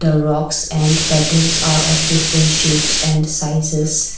the rocks and pebbles are of different shapes and sizes.